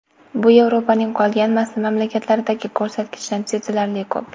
Bu Yevropaning qolgan mamlakatlaridagi ko‘rsatkichdan sezilarli ko‘p.